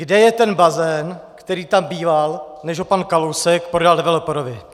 Kde je ten bazén, který tam býval, než ho pan Kalousek prodal developerovi?